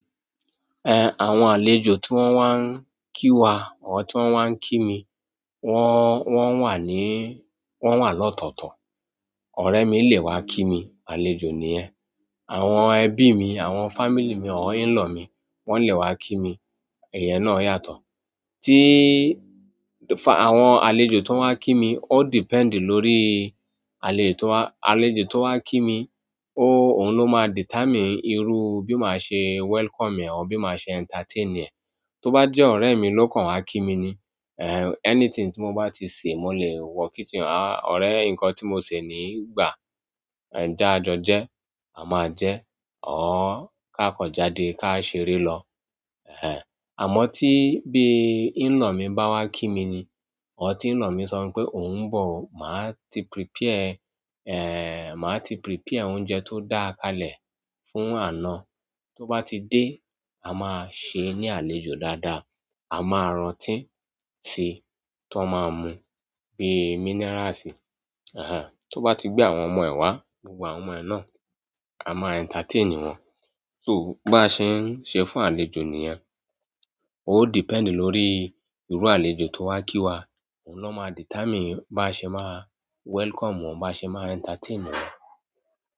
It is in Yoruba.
Eh, àwọn àlejò tí wọ́n wá ń kí wa, àwọn tí wọ́n wá ń kí mi, wọ́n, wọ́n wà ní, wọ́n wà lọ́tọ̀ọ̀tọ̀. Ọ̀rẹ́ mi lè wá kími, àlejò nìyẹn. Àwọn ẹbí mi, àwọn family mi, àwọn in-law mi, wọ́n lè wá kí mi. Ìyẹn náà yàtọ̀. Tí, fa-- àwọn àlejò tó ń wá kí mi, ó depend lórí àlejò tó wá, àlejò tó wá kí mi, ó, òhun ló máa determine irú bí máa ṣe welcome ẹ̀, bí máa ṣe entertain ẹ̀. Tó bá jẹ́ ọ̀rẹ́ mi lóòkan wá kí mi ni, eh, anything tí mo bá ti sè, mo lè wọ kotfhenọ̀rẹ́ nǹkan tí mo sè nìyí, gbà, jẹ́ ká jọ jẹ́, a máa jẹ ẹ́, ọ̀ọ́ ká kàn jáde ká ṣeré lọ. Eh, àmọ́ tí bí in-law mi bá wá kími ni, ọ̀ tí in-law mi sọ mí pé òhun ń bọ̀, màá ti prepare, eh, màá ti prepare oúnjẹ tó dáa káalẹ̀ fún àna. Tó bá ti dé, a máa ṣe é ní àlejò dáadáa. A máa ra ọtí sí tí wọ́n máa mu bíi minerals. Ahan, tó bá ti gbé àwọn ọmọ ẹ̀ wá, gbogbo àwọn ọmọ ẹ̀ náà, a máa entertain wọn. So, bí a ṣe ń ṣe fún àlejò niyẹn. Ó depend lórí irú àlejò tó wá kí wa. Òhun ló máa determine bá ṣe máa welcome wọn bá ṣe máa entertain wọn.